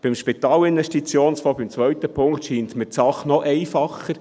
Beim Spitalinvestitionsfonds, dem zweiten Punkt, scheint mir die Sache noch einfacher.